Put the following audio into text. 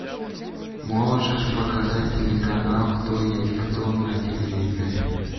можешь показать телеканал кто есть кто на телевизоре